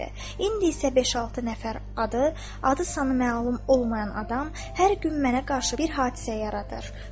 İndi isə beş-altı nəfər adı, adı sanı məlum olmayan adam hər gün mənə qarşı bir hadisə yaradır.